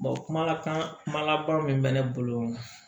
kumakan kumakan min bɛ ne bolo